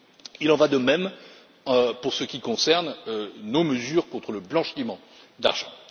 Il en va de même pour ce qui concerne nos mesures contre le blanchiment d'argent.